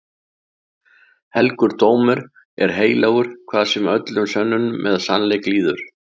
Helgur dómur er heilagur hvað sem öllum sönnunum eða sennileik líður.